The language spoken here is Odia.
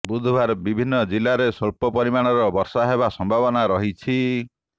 ବୁଧବାର ବିଭିନ୍ନ ଜିଲାରେ ସ୍ବଳ୍ପ ପରିମାଣର ବର୍ଷା ହେବା ସମ୍ଭାବନା ରହିଛି